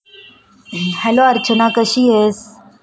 Hello Archana कशी आहेस.